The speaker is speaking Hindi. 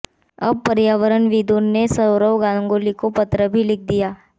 अब पर्यावरणविदों ने सौरव गांगुली को पत्र भी लिख दिया है